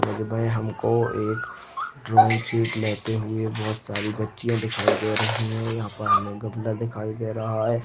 हमको एक drawing sheet लेते हुए बहोत सारी बच्चियाँ दिखाई दे रही है यहाँ पर हमे गमला दिखाई दे रहा है।